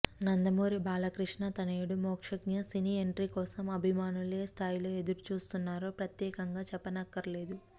నందమూరి బాలకృష్ణ తనయుడు Mokshagna cine entry కోసం అభిమానులు ఏ స్థాయిలో ఎదురు చూస్తున్నారో ప్రత్యేకంగా చెప్పనక్కర్లేదు